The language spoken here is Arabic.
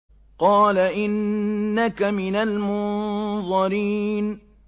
قَالَ إِنَّكَ مِنَ الْمُنظَرِينَ